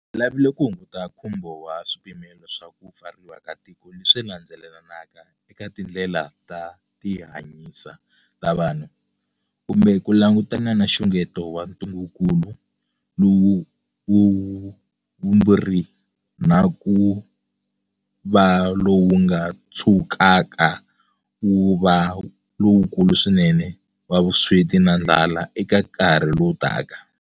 Hi lavile ku hunguta nkhumbo wa swipimelo swa ku pfariwa ka tiko leswi landzelelanaka eka tindlela ta tihanyisa ta vanhu, kumbe ku langutana na nxungeto wa ntungukulu lowu wa vumbirhi na ku va lowu nga tshukaka wu va lowukulu swinene wa vusweti na ndlala eka nkarhi lowu taka.